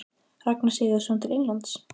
Ragnar Sigurðsson til Englands?